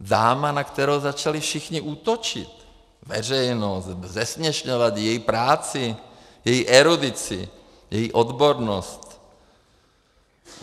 Dáma, na kterou začali všichni útočit, veřejnost, zesměšňovat její práci, její erudici, její odbornost.